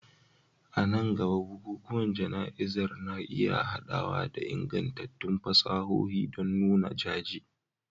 A nan gaba, bukukuwan jana'izar na iya haɗawa da ingantattun fasahohi don nuna jaje